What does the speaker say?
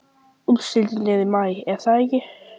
Úrslitin eru í maí er það ekki?